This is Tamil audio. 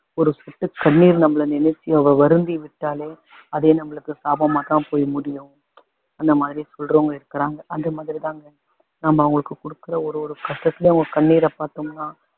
ஒரு சொட்டு கண்ணீர் நம்மள நினைச்சு அவ வருந்தி விட்டாலே அதே நம்மளுக்கு சாபமா தான் போய் முடியும் அந்த மாதிரி சொல்றவங்க இருக்குறாங்க அந்த மாதிரிதாங்க நம்ம அவங்களுக்கு கொடுக்குற ஒரு ஒரு கஷ்டத்துலயும் அவங்க கண்ணீர பாத்தோம்னா